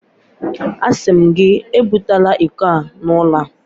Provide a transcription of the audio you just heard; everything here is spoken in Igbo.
Asị m gị, ebubatala iko a n'ụlọ a!